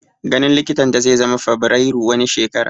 Ganin likitan ta zai zama Fabrairu wani shekara